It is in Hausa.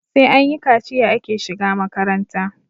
sai anyi kaciya ake shiga makaranta